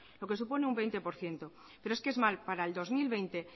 lo que supone un veinte por ciento pero es que es más para el dos mil veinte